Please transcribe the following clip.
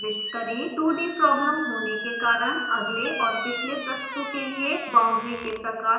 2d problem होने के कारण अगले और पिछले पृष्ठों के लिए बाउंड्री के प्रकार को खाली रखा जा सकता है